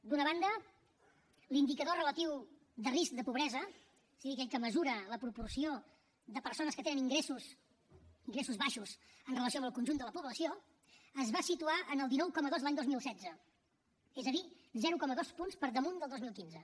d’una banda l’indicador relatiu de risc de pobresa o sigui aquell que mesura la proporció de persones que tenen ingressos baixos en relació amb el conjunt de la població es va situar en el dinou coma dos l’any dos mil setze és a dir zero coma dos punts per damunt del dos mil quinze